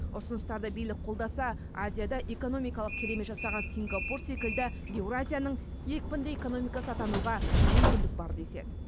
ұсыныстарды билік қолдаса азияда экономикалық керемет жасаған сингапур секілді еуразияның екпінді экономикасы атануға мүмкіндік бар деседі